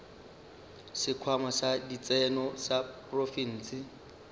sekhwama sa ditseno sa profense